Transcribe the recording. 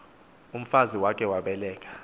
umfazi wakhe wabeleka